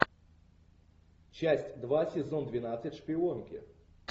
часть два сезон двенадцать шпионки